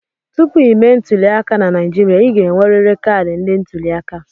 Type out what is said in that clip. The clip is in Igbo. Tupu ịme ntuliaka na Naijiria, ị ga-enwerịrị kaadị ndị ntuliaka.